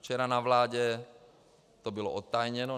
Včera na vládě to bylo odtajněno.